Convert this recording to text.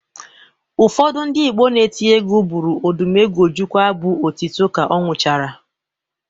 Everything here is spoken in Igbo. Ụfọdụ ndị Igbo na-eti egwu bụrụ Odumegwu Ojukwu abụ otito ka ọ nwụchara